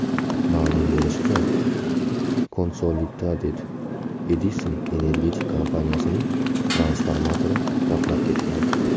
Ma’lum bo‘lishicha, Consolidated Edison energetik kompaniyasining transformatori portlab ketgan.